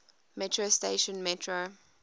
metro station metro